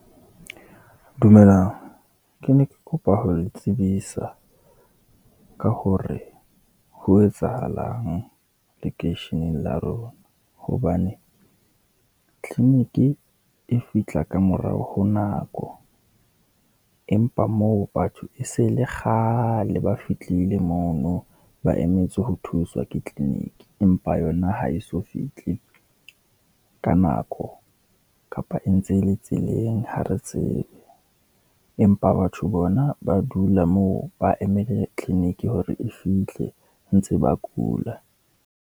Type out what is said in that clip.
Dumelang, ke ne ke kopa ho le tsebisa ka hore ho etsahalang lekeisheneng la rona, hobane tleniki e fihla ka morao ho nako. Empa moo batho e se le kgale ba fitlile mono, ba emetse ho thuswa ke tleniki, empa yona ha eso fihle ka nako kapa e ntse e le tseleng, ha re tsebe. Empa batho bona ba dula moo, ba emele tleniki hore e fihle ho ntse ba kula.